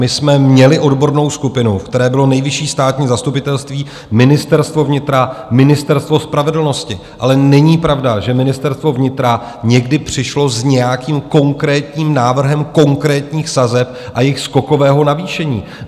My jsme měli odbornou skupinu, ve které bylo Nejvyšší státní zastupitelství, Ministerstvo vnitra, Ministerstvo spravedlnosti, ale není pravda, že Ministerstvo vnitra někdy přišlo s nějakým konkrétním návrhem konkrétních sazeb a jejich skokového navýšení.